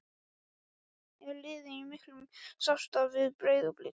Er liðið í miklu samstarfi við Breiðablik?